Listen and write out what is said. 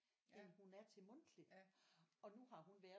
End hun er til mundtlig og nu har hun været